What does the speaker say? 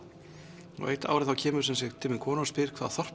eitt árið kemur til mín kona og spyr hvaða þorp